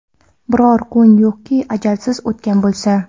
Biror kun yo‘qki ajalsiz o‘tgan bo‘lsa.